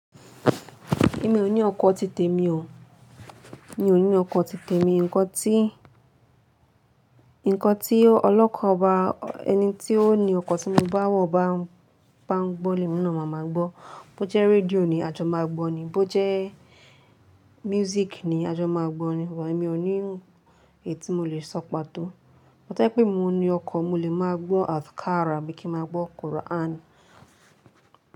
Èmi ò ní ọkọ̀ ti tèmi o. Mi ò ní ọkọ̀ ti tèmi, nkan ti Ǹkan tí o ọlọ́kọ̀ bá, ẹni tí ó ni ọkọ̀ tí mo bá wọ̀ bá ń, bá ń gbọ́ lemi na màá máa gbọ́. Bó jẹ́ radío ni ajo máa gbọ́ni. Bó jẹ́ music ni ajo máa gbọ́ni. Ṣugbọn èmi ò ní èyi ti mo lè sọ pàtó. Amo to ba je pé emi ní mo ni ọkọ̀ mo lè máa gbọ́ afkhara abí kí n máa gbọ́ Quran.